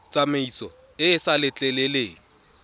tsamaiso e e sa letleleleng